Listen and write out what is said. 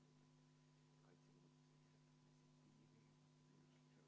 Ei tönka.